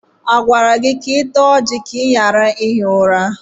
A gwara gị ka ị taa ọjị ka ị ghara ihi ụra?